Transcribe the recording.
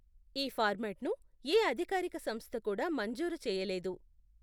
ఈ ఫార్మాట్ను ఏ అధికారిక సంస్థ కూడా మంజూరు చేయలేదు.